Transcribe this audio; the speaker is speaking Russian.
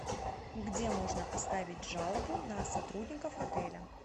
где можно оставить жалобу на сотрудников отеля